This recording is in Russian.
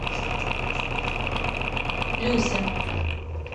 люся